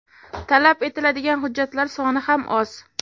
Talab etiladigan hujjatlar soni ham oz.